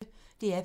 DR P1